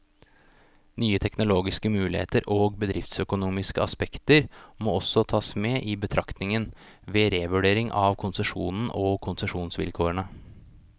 Nye teknologiske muligheter og bedriftsøkonomiske aspekter må også tas med i betraktningen, ved revurdering av konsesjonen og konsesjonsvilkårene.